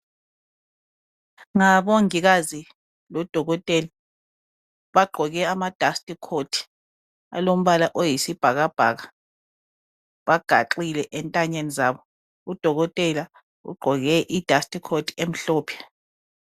Ngabongikazi lodokotela. Bagqoke ama"dust coat" alombala oyisibhakabhaka. Bagaxile ezintanyeni zabo. Udokotela ugqoke i"dust coat" emhlophe.